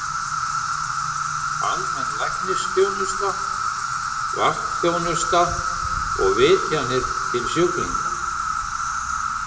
Almenn læknisþjónusta, vaktþjónusta og vitjanir til sjúklinga.